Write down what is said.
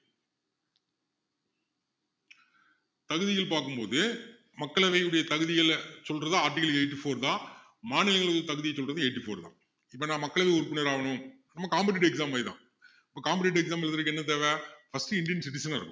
தகுதிகள் பாக்கும் போது மக்களவையினுடைய தகுதிகளை சொல்றது article eighty-four தான் மாநிலங்களின் தகுதியை சொல்றது eighty four தான் இப்போ நான் மக்களவை உறுப்பினர் ஆகணும் நம்ம competitive exam மாதிரி தான் இப்போ competitive exam எழுதுறதுக்கு என்ன தேவை first indian citizen ஆ இருக்கணும்